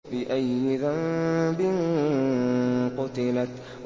بِأَيِّ ذَنبٍ قُتِلَتْ